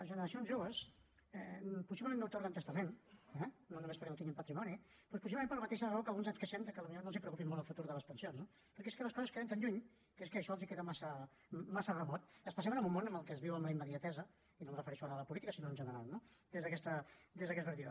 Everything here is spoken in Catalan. generacions joves possiblement no atorguen testament eh no només perquè no tinguin patrimoni però possiblement per la mateixa raó que alguns ens queixem de que potser no els preocupa molt el futur de les pensions no perquè és que les coses queden tan lluny que és que això els queda massa remot especialment en un món en el que es viu en la immediatesa i no em refereixo ara a la política sinó en general no des d’aquesta perspectiva